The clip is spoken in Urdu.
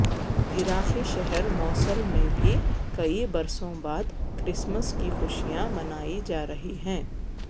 عراقی شہر موصل میں بھی کئی برسوں بعد کرسمس کی خوشیاں منائی جارہی ہیں